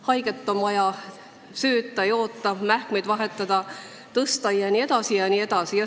Haiget on vaja sööta, joota, mähkmeid vahetada, tõsta jne, jne.